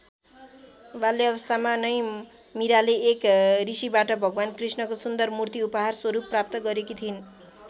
बाल्यावस्थामा नै मीराले एक ऋषिबाट भगवान कृष्णको सुन्दर मूर्ति उपहार स्वरूप प्राप्त गरेकी थिइन्।